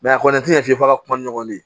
a kɔni tɛ ɲɛ f'i ka kuma ni ɲɔgɔn ye